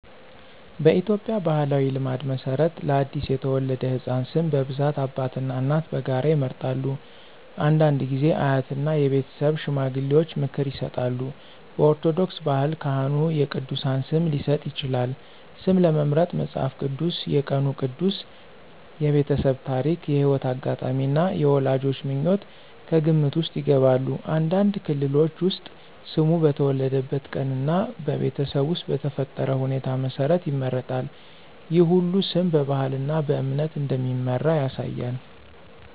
በኢትዮጵያ ባሕላዊ ልማድ መሠረት ለአዲስ የተወለደ ሕፃን ስም በብዛት አባትና እናት በጋራ ይመርጣሉ። አንዳንድ ጊዜ አያትና የቤተሰብ ሽማግሌዎች ምክር ይሰጣሉ። በኦርቶዶክስ ባህል ካህኑ የቅዱሳን ስም ሊሰጥ ይችላል። ስም ለመምረጥ መጽሐፍ ቅዱስ፣ የቀኑ ቅዱስ፣ የቤተሰብ ታሪክ፣ የሕይወት አጋጣሚ እና የወላጆች ምኞት ከግምት ውስጥ ይገባሉ። አንዳንድ ክልሎች ውስጥ ስሙ በተወለደበት ቀን እና በቤተሰብ ውስጥ በተፈጠረ ሁኔታ መሠረት ይመረጣል። ይህ ሁሉ ስም በባህልና በእምነት እንደሚመራ ያሳያል።